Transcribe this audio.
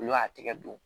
Olu y'a tigɛ don